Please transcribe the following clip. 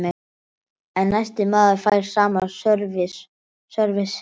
En næsti maður fær sama sörvis.